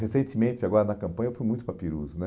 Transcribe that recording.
Recentemente, agora na campanha, eu fui muito para Ipirus.